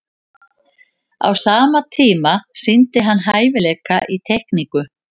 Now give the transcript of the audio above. á sama tíma sýndi hann hæfileika í teikningu